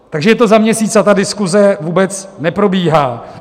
Takže je to za měsíc, a ta diskuze vůbec neprobíhá.